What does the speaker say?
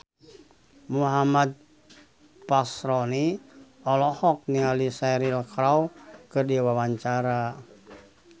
Muhammad Fachroni olohok ningali Cheryl Crow keur diwawancara